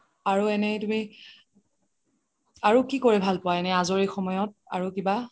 আৰু এনে তুমি আৰু কি কৰি ভাল পুৱা আজৰি সময়ত আৰু কিবা